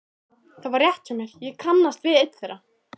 Það var rétt hjá mér, ég kannast við einn þeirra.